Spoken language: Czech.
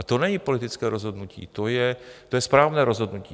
A to není politické rozhodnutí, to je správné rozhodnutí.